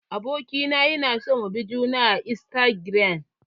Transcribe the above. Abokina yana son mu bi juna a istagiram.